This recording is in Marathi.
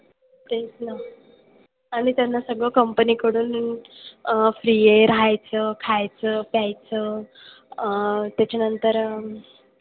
तेच ना. आणि त्यांना सगळं company कडून अह free आहे राहायचं, खायचं, प्यायचं अह त्याच्यानंतर,